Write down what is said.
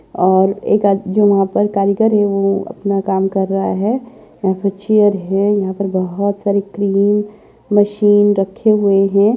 और एक आद जो यहाँ पर कारीगर है वह अपना काम कर रहा है यहाँ पर चेयर है यहाँ पर बहुत सारी क्रीम मशीन रखे हुए है।